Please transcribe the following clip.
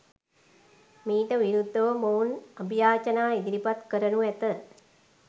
මීට විරුද්ධව මොවුන් අභියාචනා ඉදිරිපත් කරනු ඇත.